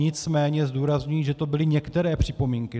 Nicméně zdůrazňuji, že to byly některé připomínky.